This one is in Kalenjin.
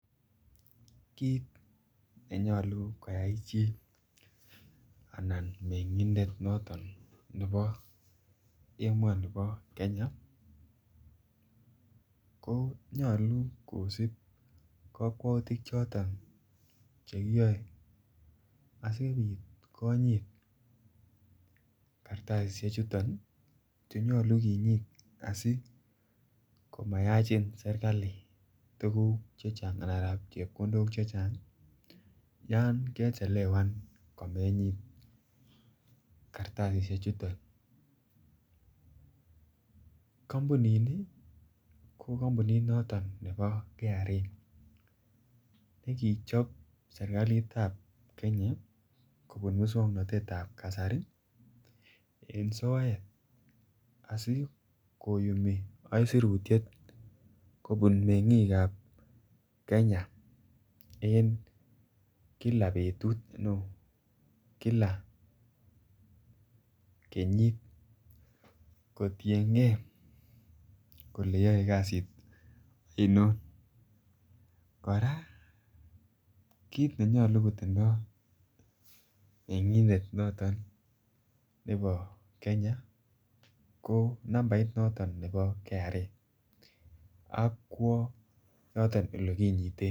Kit nenyolu koyai chili anan mengindet noton nebo emoni bo Kenya ko nyolu kisib kokwoutik choto chekiyoe asipit konyit kartasishek chuton nii chenyolu kinyit asimayachin sirkali tukuk chechang anan rabin chepkondok chechang yon kechelewan komenyit kastasishek chuton. Kompunini ko kompunit noto nebo KRA nekichob sirkalit ab Kenya kobun muswoknotetab kasari en soet asikoyumi isurutyet kobun en kila betut no kila kenyit kotiyengee kole yoet kasit oino. Koraa kit nenyolu kotindo mengindet noton nebo Kenya ko nambait noton nebo KRA ak kwo yoton olekinyiten.